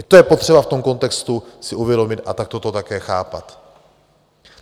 I to je potřeba v tom kontextu si uvědomit a takto to také chápat.